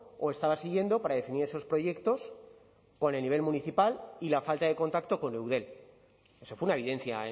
o estaba siguiendo para definir esos proyectos con el nivel municipal y la falta de contacto con eudel eso fue una evidencia